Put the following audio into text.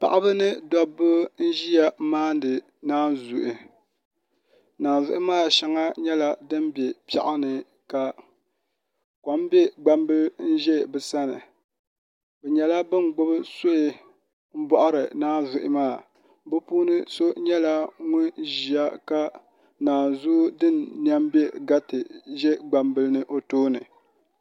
paɣiba mini dɔbba n-ʒiya maandi naanzuhi naanzuhi maa shɛya nyɛla din be piɛɣu ni ka kom be gbambila ni n-za bɛ sani bɛ nyɛla ban gbubi suhi m-bɔɣiri naanzuhi maa bɛ puuni so nyɛla ŋun ʒiya ka naanzua din nɛm m-be gati be gbambili ni n-za o tooni